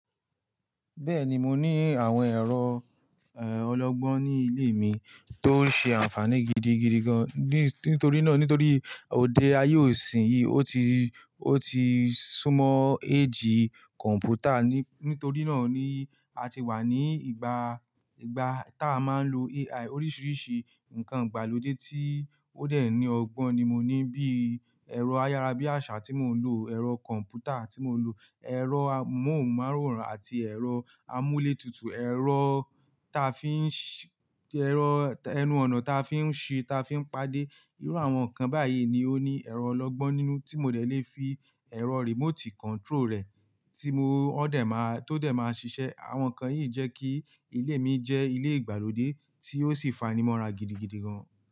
Bẹ́ẹ̀ni, mo ní àwọn ẹ̀rọ, eh, ọlọ́gbọ́n ní ilé mi tó ń ṣe àǹfààní gidigidi gan. Ní, nítorí náà nítorí òde ayé òsin yìí ó ti, ó ti súmọ́ eégì kọ̀m̀pútà. Ní, nítorí náà ni a ti wà ní ìgbà, ìgbà tá a máa ń lo AI oríṣiríṣi nǹkan ìgbàlódé tí ó dẹ̀ ní ọgbọ́n ni mo ní bíi ẹ̀rọ ayára bí àṣà tí mò ń lò, ẹ̀rọ kọ̀m̀pútà tí mò ń lò, ẹ̀rọ amóhùnmáwòrán àti ẹ̀rọ amúletutù, ẹ̀rọ ta fi ń ṣi, ẹ̀rọ ẹnu-ọ̀nà ta fi ń ṣi, ta fi ń pàdé. Irú àwọn nǹkan báyìí ni ó ní ẹ̀rọ ọlọ́gbọ́n nínú tí mo dẹ̀ lè fi ẹ̀rọ remote control rẹ̀ tí mo ó dẹ̀ máa, tó dẹ̀ máa ṣiṣẹ́. Àwọn nǹkan yìí jẹ́ kí ilé mi jẹ́ ilé ìgbàlódé tí ó sì fanimọ́ra gidigidi gan.